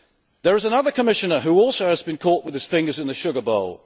There is another Commissioner who also has been caught with his fingers in the sugar bowl.